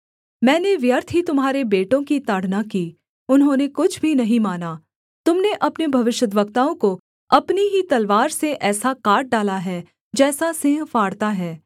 मैंने व्यर्थ ही तुम्हारे बेटों की ताड़ना की उन्होंने कुछ भी नहीं माना तुम ने अपने भविष्यद्वक्ताओं को अपनी ही तलवार से ऐसा काट डाला है जैसा सिंह फाड़ता है